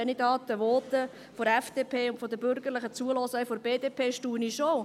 Wenn ich da den Voten der FDP und der Bürgerlichen, der BDP, zuhöre, staune ich schon.